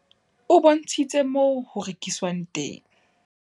O bontshitse moo ho rekiswang teng.